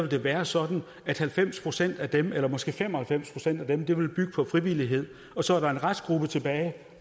det være sådan at halvfems procent af dem eller måske fem og halvfems procent af dem vil bygge på frivillighed og så er der en restgruppe tilbage